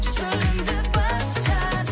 шөлімді басар